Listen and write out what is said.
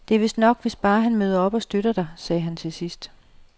Det er vist nok, hvis han bare møder op og støtter dig, sagde han til sidst.